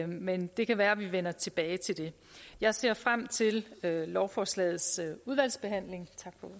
men det kan være vi vender tilbage til det jeg ser frem til lovforslagets udvalgsbehandling